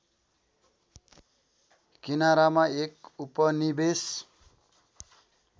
किनारामा एक उपनिवेश